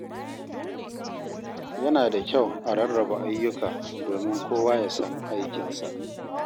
Yana da kyau a rarraba ayyuka domin kowa ya san aikinsa.